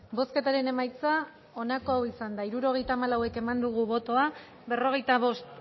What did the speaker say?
bozketaren emaitza onako izan da hirurogeita hamalau eman dugu bozka berrogeita bost